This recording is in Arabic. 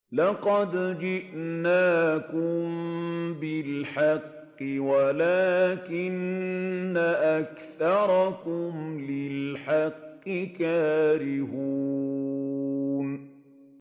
لَقَدْ جِئْنَاكُم بِالْحَقِّ وَلَٰكِنَّ أَكْثَرَكُمْ لِلْحَقِّ كَارِهُونَ